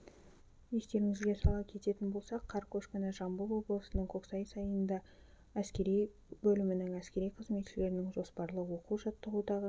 естеріңізге сала кететін болсақ қар көшкіні жамбыл облысының көксай сайында әскери бөлімінің әскери қызметшілерінің жоспарлы оқу-жаттығудағы